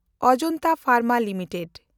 ᱟᱡᱟᱱᱛᱟ ᱯᱷᱮᱱᱰᱢᱟ ᱞᱤᱢᱤᱴᱮᱰ